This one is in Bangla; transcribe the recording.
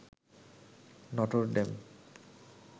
Notre Dame